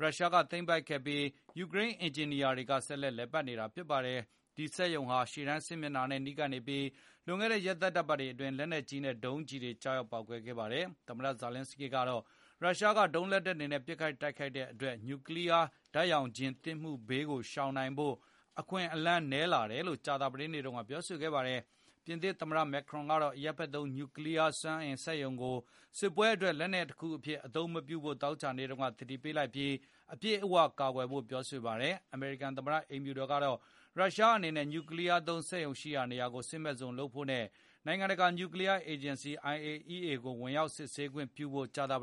ရုရှားတွေက သိမ်းပိုက်ခဲ့ပြီး၊ ယူကရိန်း အင်ဂျင်နီယာတွေက ဆက်လက်လည်ပတ်နေတာ ဖြစ်ပါတယ်။ ဒီစက်ရုံဟာ ရှေတန်းစစ်မျက်နှာနဲ့ နီးကပ်နေပြီး လွန်ခဲ့တဲ့ ရက်သတ္တပတ်တွေအတွင်း လက်နက်ကြီးနဲ့ဒုံးလက်နှက်တွေ ကျရောက်ခဲ့ပါတယ်။ သမ္မတ ဇာလင်းစကီးကတော့ ရုရှားက ဒုံးလက်နက်တွေနဲ့ ပစ်ခတ်နေတဲ့အတွက် နူကလီးယား ဓာတ်ရောင်ခြည်သင့်မှု ဘေးကို ရှောင်နိုင်ဖို့ အခွင့်အလမ်း နည်းလာတယ်လို့ ကြာသာပတေးနေ့တုန်းက ပြောဆိုပါတယ်။ ပြင်သစ်သမ္မတ မက်ခရွန်ကတော့ အရပ်ဖက်သုံး နူကလီးယားစွမ်းအင်စက်ရုံတွေကို စစ်ပွဲအတွက် လက်နက်တခုအဖြစ် အသုံးမပြုဖို့သောကြာနေ့မှာ သတိပေးလိုက်ပြီး၊ အပြည့်အဝ ကာကွယ်ဖို့ ပြောဆိုလိုက်ပါတယ်။ အမေရိကန်သမ္မတ အိမ်ဖြူတော်ကတော့ ရုရှားအနေနဲ့ နူကလီးယားသုံး စက်ရုံရှိရာ နေရာကို စစ်မဲ့ဇုံလုပ်ဖို့နဲ့ နိုင်ငံတကာ နူကလီးယားအေဂျင်စီ IAEA ကို ဝင်ရောက် စစ်ဆေးခွင့်ပြုဖို့ ကြာသပတ